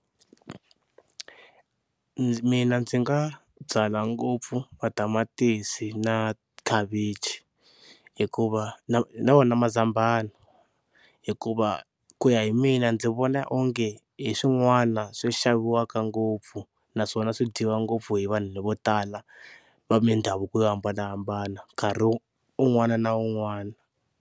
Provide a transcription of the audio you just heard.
Mina ndzi nga byala ngopfu matamatisi na khavichi hikuva na na wona mazambhana hikuva ku ya hi mina ndzi vona onge hi swin'wana swi xaviwaka ngopfu naswona swi dyiwa ngopfu hi vanhu vo tala va mindhavuko yo hambanahambana nkarhi un'wana na un'wana.